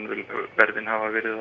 verðin hafa verið